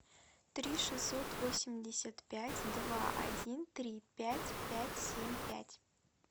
три шестьсот восемьдесят пять два один три пять пять семь пять